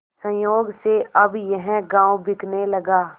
संयोग से अब यह गॉँव बिकने लगा